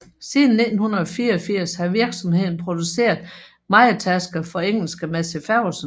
Siden 1984 har virksomheden produceret mejetærskere for engelske Massey Ferguson